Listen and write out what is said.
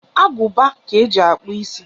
Aguba ka eji akpu isi.